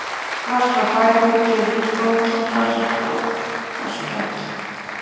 Strax frá fæðingu gefur unginn frá sér hljóð og skræki.